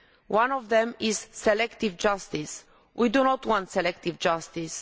One of them is selective justice. We do not want selective justice